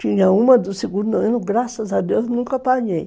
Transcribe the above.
Tinha uma do segundo ano, graças a Deus, nunca apanhei.